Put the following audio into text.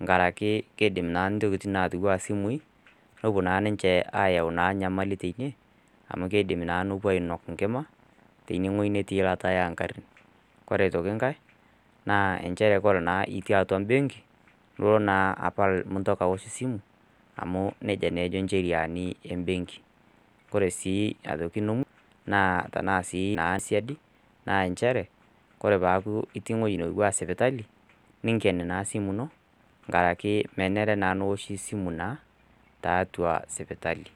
enkaraki keidim naa intokitin naatiu anaa isimui, pewuo naa ninche aayau enyamali naa teine, amu keidim naa nepuo ainok enkima, teine wueji natii eilata oo ng'arin. Ore aitoki enkai, naa nchere naa ore itii atua embenki, nilo naa apal mintoki aosh esimu, amu neija naa ejo incheriani embenki. Ore sii aitoki ene musho, tana naa sii siadi, naa nchere, tenelo neaku itii ewueji naaku sipitali, ninken naa esimu ino, enkaraki naa menare naa neoshi esimu naa tiatua sipitali.